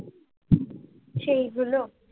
সেই গুলো।